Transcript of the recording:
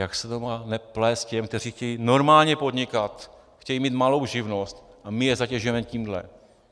Jak se to má neplést těm, kteří chtějí normálně podnikat, chtějí mít malou živnost, a my je zatěžujeme tímhle?